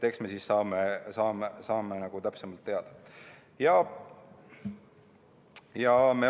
Eks me siis saame täpsemalt teada.